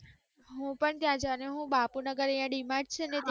હું પણ ત્યાં જવાની હું બાપુનગર અહીંયાં ડી માર્ટ છે ને. ત્યાં જવાની છું.